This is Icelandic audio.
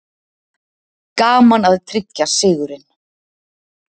Gaman að tryggja sigurinn